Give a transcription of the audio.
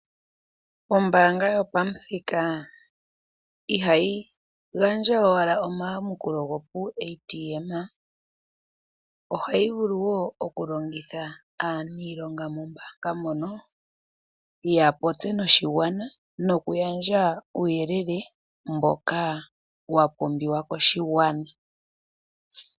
Ombaanga yopamuthika ihayi gandja owala omayakulo go puuATM. Ohayi vulu wo okulongitha aaniilonga mombaanga mono, yapopye noshigwana nokugandja uuyelele mboka wapumbiwa koshigwana.